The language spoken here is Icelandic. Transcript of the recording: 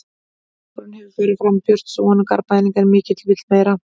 Árangurinn hefur farið fram úr björtustu vonum Garðbæinga en mikill vill meira.